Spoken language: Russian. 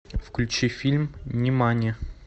включи фильм нимани